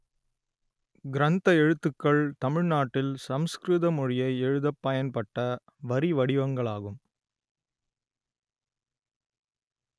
கிரந்த எழுத்துக்கள் தமிழ் நாட்டில் சமஸ்கிருத மொழியை எழுதப் பயன்பட்ட வரி வடிவங்களாகும்